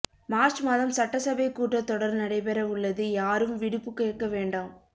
March மாதம் சட்டசபை கூட்டத் தொடர் நடைபெற உள்ளது யாரும் விடுப்பு கேட்க வேண்டாம்